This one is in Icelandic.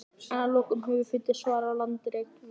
en að lokum höfum við fundið svarið á landareign rökfræðinnar